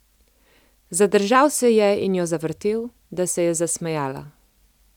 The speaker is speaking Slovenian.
Zadržal se je in jo zavrtel, da se je zasmejala.